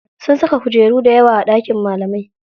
Sun saka kujeru dayawa a ɗakin malamai.